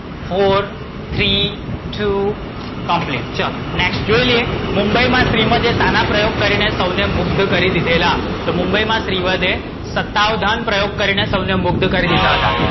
four, three, two, complete ચલો, next જોઈ લઈએ મુંબઈ માં શ્રીવધે શાના પ્રયોગ કરીને સૌને મુગ્ધ કરી દીધેલા? તો મુંબઈ માં શ્રીવધે સત્તાવધાન પ્રયોગ કરીને સૌને મુગ્ધ કરી દીધા હતા.